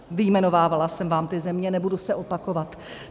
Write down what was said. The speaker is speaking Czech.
Vyjmenovávala jsem vám ty země, nebudu se opakovat.